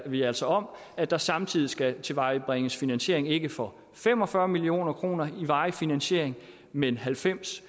vi altså om at der samtidig skal tilvejebringes finansiering ikke for fem og fyrre million kroner i varig finansiering men halvfems